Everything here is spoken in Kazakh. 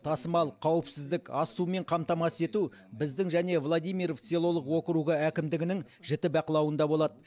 тасымал қауіпсіздік ас сумен қамтамасыз ету біздің және владимиров селолық округі әкімдігінің жіті бақылауында болады